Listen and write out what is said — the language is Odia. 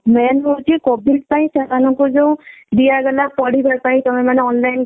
main ହଉଛି COVID ପାଇଁ ସେମାନଙ୍କୁ ଯଉ ଦିଆଗଲା ପଢିବା ପାଇଁ ସେମାନେ online class କର